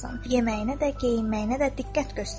Yeməyinə də, geyinməyinə də diqqət göstər.